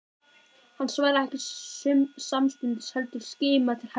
Hann svaraði ekki samstundis heldur skimaði til hægri og vinstri.